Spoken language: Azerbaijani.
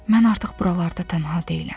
Mən artıq buralarda tənha deyiləm.